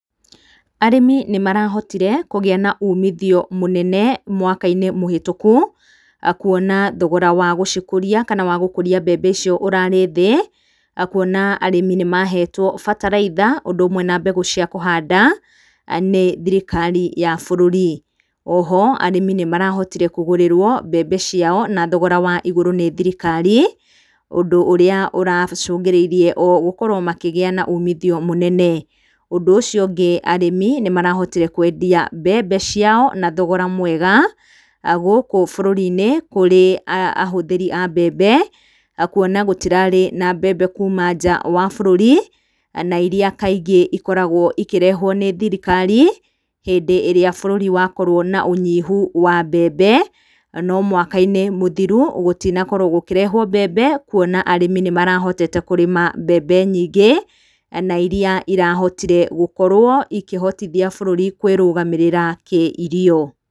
Arĩmi nĩmarahotire kũgĩa na ũmithio mũnene mwaka mũhĩtũku kuona thogora wa gũcikũria kana wa gũkũria mbembe icio ũrarĩ thĩ, kuona arĩmi nĩmahetwo bataraitha ũndũ ũmwe na mbegũ cia kũhanda nĩ thirikari ya bũrũri. Oho arĩmi nĩmarahotire kũgũrĩrwo mbembe ciao na thogora wa igũrũ nĩ thirikari, ũndũ ũrĩa ũracũngĩrĩirie o gũkorwo makĩgĩa na umithio mũnene. Ũndũ ũcio ũngĩ arĩmi nĩmarahotire kwendia mbembe ciao na thogora mwega gũkũ bũrũri-inĩ kũrĩ ahũthĩri a mbembe kuona gũtirarĩ na mbembe kuma nja wa bũrũri na iria kaingĩ ikoragwo ikĩrehwo nĩ thirikari, hĩndĩ ĩrĩa bũrũri wakorwo na ũnyihu wa mbembe, no mwaka-inĩ mũthiru gũtina korwo gũkĩrehwo mbembe kuona arĩmi nĩmarahotete kũrĩma mbembe nyingĩ na iria irahotire gũkorwo ikĩhotithia bũrũri kwĩrũgamĩrĩra kĩirio.